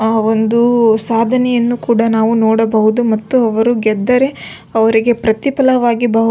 ಅಹ್ ಒಂದು ಸಾಧನೆಯನ್ನು ಕೂಡ ನಾವು ನೋಡಬಹುದು ಮತ್ತು ಅವರು ಗೆದ್ದರೆ ಅವರಿಗೆ ಪ್ರತಿಫಲವಾಗಿ ಬಹು --